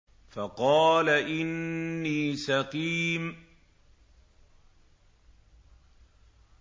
فَقَالَ إِنِّي سَقِيمٌ